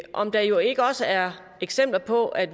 om der ikke også er eksempler på at